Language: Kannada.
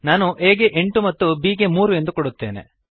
ನಾನು a ಗೆ ಎಂಟು ಮತ್ತು b ಗೆ ಮೂರು ಎಂದು ಕೊಡುತ್ತೇನೆ